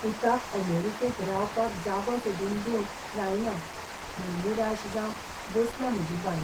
पुताक अमेरिकेंत रावपाक जागो सोदून दिवंक जायना म्हूण निराश जावन बसल्या म्हजी बायल.